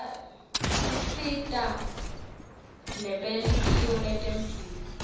tisita nebelitiko letemphilo